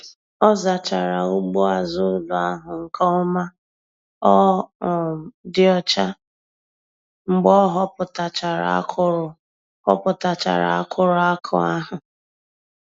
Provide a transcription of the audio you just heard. Ọ zachara ugbo azụ ụlọ ahụ nke ọma ọ um dị ọcha mgbe ọ họpụtachara akụrụ họpụtachara akụrụ akụ ahụ.